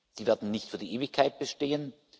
Die werden nicht für die Ewigkeit bestehen.